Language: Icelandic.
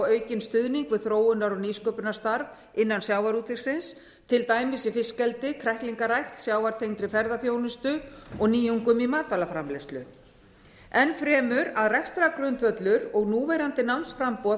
aukinn stuðning við þróunar og nýsköpunarstarf innan sjávarútvegsins til dæmis í fiskeldi kræklingarækt sjávartengdri ferðaþjónustu og nýjungum í matvælaframleiðslu enn fremur að rekstrargrundvöllur og núverandi námsframboð